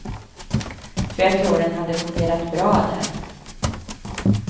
För jag tror att den hade fungerat bra där.